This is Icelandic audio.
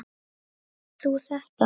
Átt þú þetta?